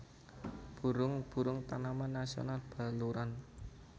Burung burung Taman Nasional Baluran